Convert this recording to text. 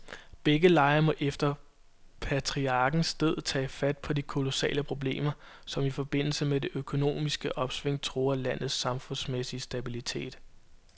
Begge lejre må efter patriarkens død tage fat på de kolossale problemer, som i forbindelse med det økonomiske opsving truer landets samfundsmæssige stabilitet.